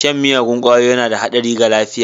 Shan miyagun ƙwayoyi yana da haɗari ga lafiya.